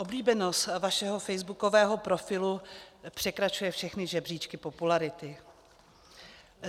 Oblíbenost vašeho facebookového profilu překračuje všechny žebříčky popularity.